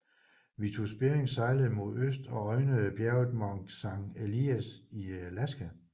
Vitus Bering sejlede mod øst og øjnede bjerget Mount Saint Elias i Alaska